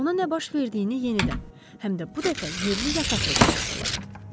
Ona nə baş verdiyini yenidən, həm də bu dəfə yerli yataqlı danışdılar.